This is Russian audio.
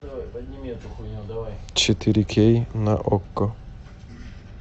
четыре кей на окко